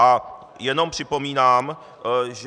A jenom připomínám, že...